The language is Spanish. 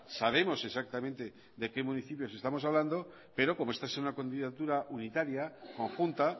sabemos exactamente de qué municipios estamos hablando pero como esta es una candidatura unitaria conjunta